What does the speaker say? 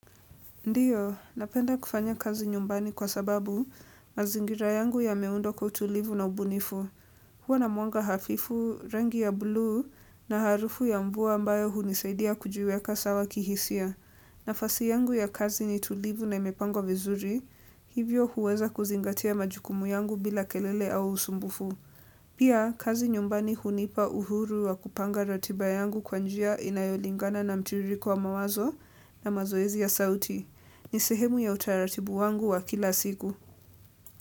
Ndio, napenda kufanya kazi nyumbani kwa sababu mazingira yangu yameundwa kwa utulivu na ubunifu. Huwa na mwanga hafifu, rangi ya bluu na harufu ya mvua ambayo hunisaidia kujiweka sawa kihisia. Nafasi yangu ya kazi ni tulivu na imepangwa vizuri, hivyo huweza kuzingatia majukumu yangu bila kelele au usumbufu. Pia, kazi nyumbani hunipa uhuru wa kupanga ratiba yangu kwa njia inayolingana na mtiririko wa mawazo na mazoezi ya sauti. Ni sehemu ya utaratibu wangu wa kila siku.